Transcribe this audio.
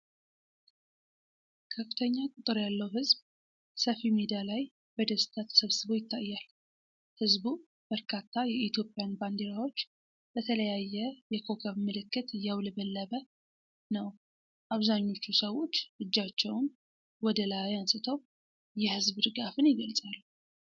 ከፍተኛ ቁጥር ያለው ሕዝብ ሰፋፊ ሜዳ ላይ በደስታ ተሰብስቦ ይታያል። ሕዝቡ በርካታ የኢትዮጵያን ባንዲራዎች በተለያየ የኮከብ ምልክት እያውለበለበ ነው። አብዛኞቹ ሰዎች እጃቸውን ወደ ላይ አንስተው የሕዝብ ድጋፍን ይገልጻሉ።